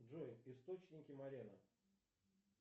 джой источники морены